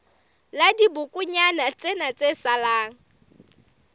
la dibokonyana tsena tse salang